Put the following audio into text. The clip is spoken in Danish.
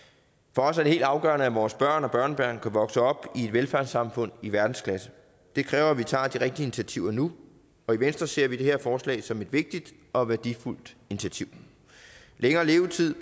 for os er det helt afgørende at vores børn og børnebørn kan vokse op i et velfærdssamfund i verdensklasse det kræver at vi tager de rigtige initiativer nu og i venstre ser vi det her forslag som et vigtigt og værdifuldt initiativ længere levetid